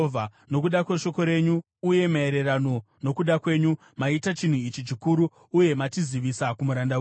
Nokuda kweshoko renyu uye maererano nokuda kwenyu, maita chinhu ichi chikuru uye machizivisa kumuranda wenyu.